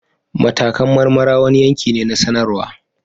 Matakan marmara wani yanki ne na sanarwa